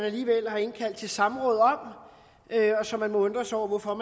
alligevel har indkaldt til samråd om så man må undre sig over hvorfor